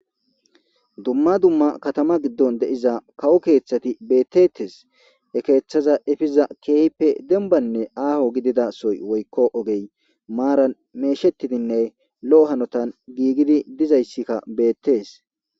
Duma duma Katama gidon de'iza kawo kethati betetes he ketha efiza kehipe dembane aho gidida sohoy woyko ogey maran medhetidinne lo'o hanotan gigidi dizasa betes.